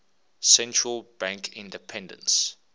central bank independence